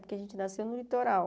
Porque a gente nasceu no litoral.